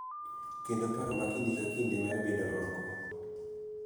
Kendo paro ma kinde ka kinde mar bedo oko